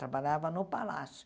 Trabalhava no palácio.